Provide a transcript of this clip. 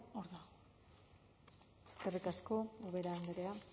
hor da eskerrik asko ubera andrea